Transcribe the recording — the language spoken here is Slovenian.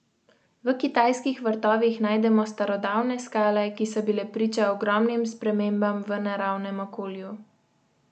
V kitajskih vrtovih najdemo starodavne skale, ki so bile priče ogromnim spremembam v naravnem okolju.